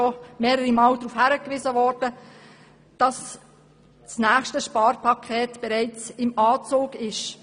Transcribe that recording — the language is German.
Wir alle wissen, dass das nächste Sparpaket bereits im Anzug ist.